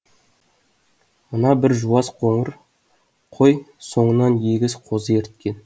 мына бір жуас қоңыр қой соңынан егіз қозы ерткен